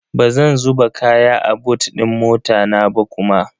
Bazan zuba kaya a bot din mota na ba kuma.